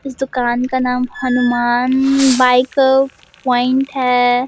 इस दुकान का नाम हनुमान बाइक प्वाइंट है।